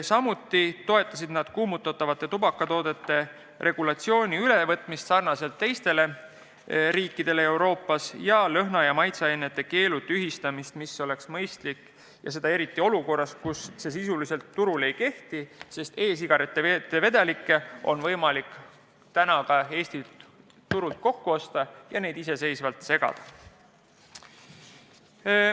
Samuti toetavad nad kuumutatavate tubakatoodete regulatsiooni ülevõtmist sarnaselt teiste riikidega Euroopas ning lõhna- ja maitseainete keelu tühistamist, mis oleks mõistlik eriti olukorras, kus see sisuliselt turul ei kehti, sest e-sigarettide vedelikke on võimalik ka Eestis turult kokku osta ja neid ise segada.